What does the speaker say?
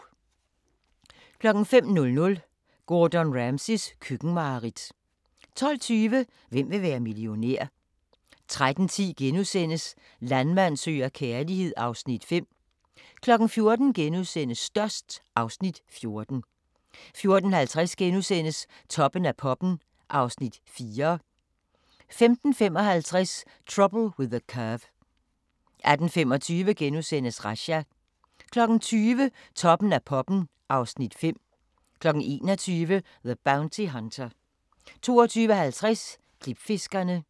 05:00: Gordon Ramsays køkkenmareridt 12:20: Hvem vil være millionær? 13:10: Landmand søger kærlighed (Afs. 5)* 14:00: Størst (Afs. 14)* 14:50: Toppen af poppen (Afs. 4)* 15:55: Trouble With the Curve 18:25: Razzia * 20:00: Toppen af poppen (Afs. 5) 21:00: The Bounty Hunter 22:50: Klipfiskerne